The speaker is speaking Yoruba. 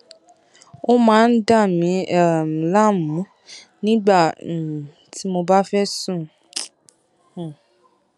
ó máa ń dà mí um láàmú nígbà um tí mo bá fẹ sùn um